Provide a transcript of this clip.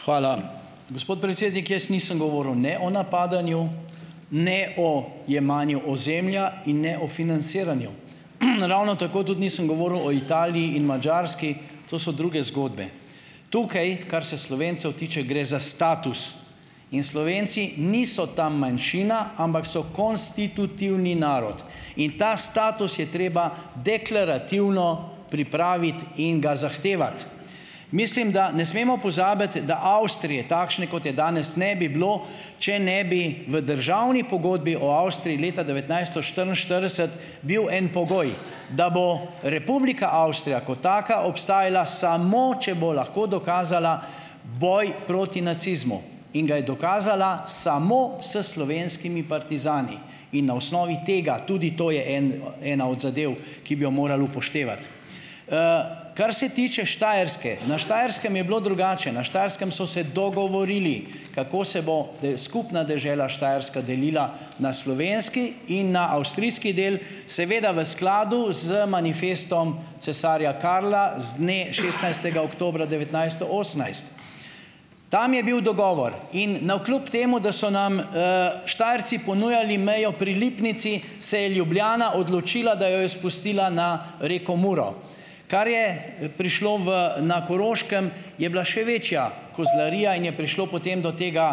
Hvala. Gospod predsednik, jaz nisem govoril ne o napadanju, ne o jemanju ozemlja in ne o financiranju. Naravno tako tudi nisem govoril o Italiji in Madžarski. To so druge zgodbe. Tukaj, kar se Slovencev tiče, gre za status in Slovenci niso tam manjšina, ampak so konstitutivni narod. In ta status je treba deklarativno pripraviti in ga zahtevati. Mislim da, ne smemo pozabiti, da Avstrije takšne, kot je danes, ne bi bilo, če ne bi v državni pogodbi o Avstriji leta devetnajststo štiriinštirideset bil en pogoj, da bo Republika Avstrija kot taka obstajala samo, če bo lahko dokazala boj proti nacizmu, in ga je dokazala samo s slovenskimi partizani in na osnovi tega, tudi to je en ena od zadev, ki bi jo morali upoštevati. Kar se tiče Štajerske. Na Štajerskem je bilo drugače, na Štajerskem so se dogovorili, kako se bo skupna dežela Štajerska delila na slovenski in na avstrijski del, seveda v skladu z manifestom cesarja Karla z dne šestnajstega oktobra devetnajststo osemnajst. Tam je bil dogovor in navkljub temu, da so nam, Štajerci ponujali mejo pri Lipnici, se je Ljubljana odločila, da jo je spustila na reko Muro. Kar je, prišlo v na Koroškem, je bila še večja kozlarija in je prišlo, potem do tega,